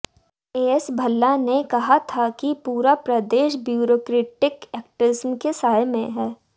as Bhalla ने कहा था कि पूरा प्रदेश ब्यूरोक्रेटिक एक्टिज्म के साये में है